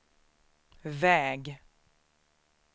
väg